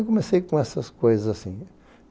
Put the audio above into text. E comecei com essas coisas assim.